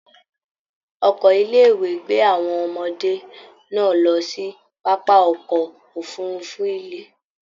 Ọkọ ilé ìwé gbé àwọn ọmọdé náà lọ sí pápá ọkọ òfurùnfu ilẹ.